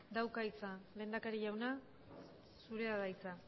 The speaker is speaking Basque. dauka hitza lehendakari jauna zurea da hitza